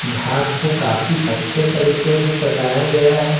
घाट को काफी अच्छे तरीके से सजाया गया है।